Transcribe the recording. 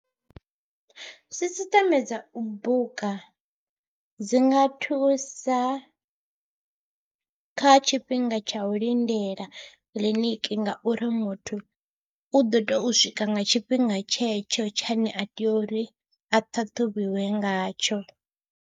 Sisiṱeme dza u buka dzi nga thusa kha tshifhinga tsha u lindela kiḽiniki ngauri muthu u ḓo tea u swika nga tshifhinga tshetsho tshine a tea uri a ṱhaṱhuvhiwe ngatsho.